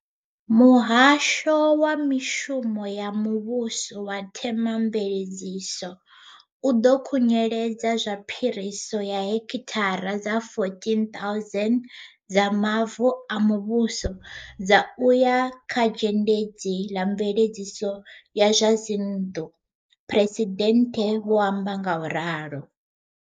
Muhasho wa Mishumo ya Muvhuso na Themamvele dziso u ḓo khunyeledza zwa phiriso ya hekithara dza 14 000 dza mavu a muvhuso dza u ya kha Zhendedzi ḽa Mveledziso ya zwa Dzinnḓu, Phresidennde vha amba ngauralo.